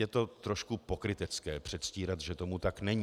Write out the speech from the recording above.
Je to trošku pokrytecké předstírat, že tomu tak není.